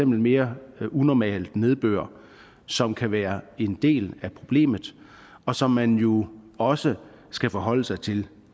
mere unormal nedbør som kan være en del af problemet og som man jo også skal forholde sig til